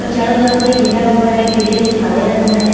और चारों तरफ से घेरा हुआ है ग्रेल जो काले रंग में है।